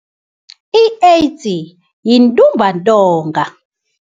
I-AIDS yintumbantonga.